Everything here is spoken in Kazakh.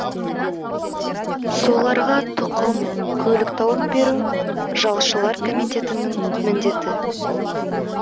соларға тұқым көлік тауып беру жалшылар комитетінің міндеті